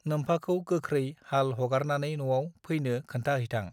नोमफाखौ गोख्रै हाल हगारनानै नआव फैनो खोन्था हैथां